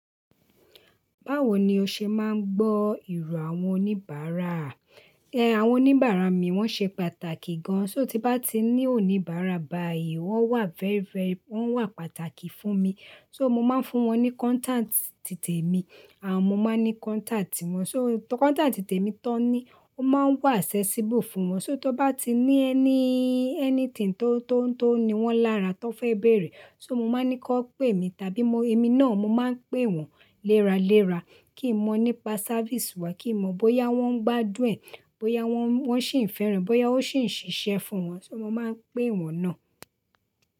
Báwo ni o ṣe máa ń gbọ́ ìró àwọn oníbàárà? Ẹ àwọn oníbàárà mi wọ́n ṣe pàtàkì gan-an. Só ti bá ti ní oníbàárà bàyìí, wọ́n wà very very, wọ́n wà pàtàkì fún mi. Só mo máa ń fún wọn ní contact ti tèmi à mo máa ń ní contact wọn. Só contact ti tèmi tán ní, o máa ń wà accessible fún wọn. Só tí ó bá ti ní ẹní- anything tó, tó, tó ní wọ́n lára tó fẹ́ béèrè, só mo máa ní kí wọ́n pe mí tàbí mo, èmi náà mo máa ń pe wọn léra léra kí n mọ̀ nípa service wa, kí n mọ̀ bóyá wọ́n ń gbádùn, bóyá wọ́n, wọ́n ṣí ń fẹ́ràn, bóyá ó ṣì ń ṣiṣẹ́ fún wọn. Só mo máa ń pe wọn náà.